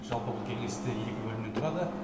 жалпы бұл кеңесте екі бөлімнен тұрады